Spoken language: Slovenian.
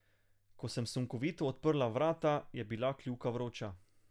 Ko sem sunkovito odprla vrata, je bila kljuka vroča.